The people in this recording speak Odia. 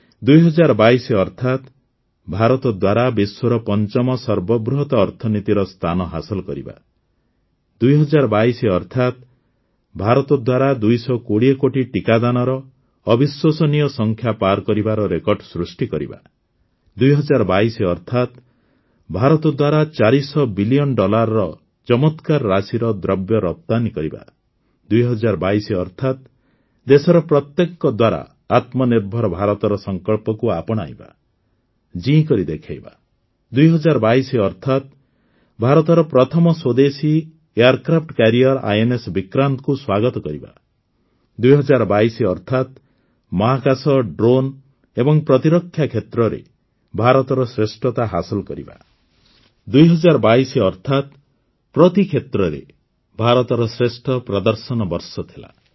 ୨୦୨୨ ଅର୍ଥାତ୍ ଭାରତ ଦ୍ୱାରା ବିଶ୍ୱର ପଞ୍ଚମ ସର୍ବବୃହତ ଅର୍ଥନୀତିର ସ୍ଥାନ ହାସଲ କରିବା ୨୦୨୨ ଅର୍ଥାତ୍ ଭାରତ ଦ୍ୱାରା ୨୨୦ କୋଟି ଟିକାଦାନର ଅବିଶ୍ୱସନୀୟ ସଂଖ୍ୟା ପାର୍ କରିବାର ରେକର୍ଡ ସୃଷ୍ଟି କରିବା ୨୦୨୨ ଅର୍ଥାତ୍ ଭାରତ ଦ୍ୱାରା ୪୦୦ ବିଲିୟନ୍ ଡଲାରର ଚମତ୍କାର ରାଶିର ଦ୍ରବ୍ୟ ରପ୍ତାନୀ କରିବା ୨୦୨୨ ଅର୍ଥାତ୍ ଦେଶର ପ୍ରତ୍ୟେକଙ୍କ ଦ୍ୱାରା ଆତ୍ମନିର୍ଭର ଭାରତର ସଂକଳ୍ପକୁ ଆପଣାଇବା ଜୀଇଁ କରି ଦେଖାଇବା ୨୦୨୨ଅର୍ଥାତ୍ ଭାରତର ପ୍ରଥମ ସ୍ୱଦେଶୀ ଏୟାରକ୍ରାଫ୍ଟ କ୍ୟାରିୟର ଆଇଏନଏସ Vikrantକୁ ସ୍ୱାଗତ କରିବା ୨୦୨୨ ଅର୍ଥାତ୍ ମହାକାଶ ଡ୍ରୋନ୍ ଏବଂ ପ୍ରତିରକ୍ଷା କ୍ଷେତ୍ରରେ ଭାରତର ଶ୍ରେଷ୍ଠତା ହାସଲ କରିବା ୨୦୨୨ ଅର୍ଥାତ୍ ପ୍ରତି କ୍ଷେତ୍ରରେ ଭାରତର ଶ୍ରେଷ୍ଠ ପ୍ରଦର୍ଶନର ବର୍ଷ ଥିଲା